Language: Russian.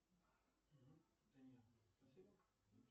джой не расслышал громче если можно